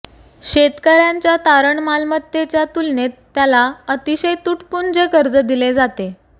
शेतकर्याच्या तारण मलमत्तेच्या तुलनेत त्याला अतिशय तुटपुंजे कर्ज दिले जाते